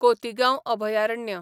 कोतीगांव अभयारण्य